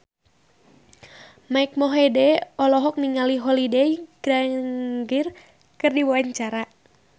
Mike Mohede olohok ningali Holliday Grainger keur diwawancara